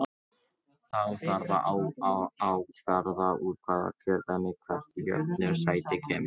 Þá þarf að ákvarða úr hvaða kjördæmi hvert jöfnunarsæti kemur.